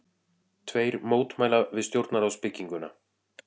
Tveir mótmæla við stjórnarráðsbygginguna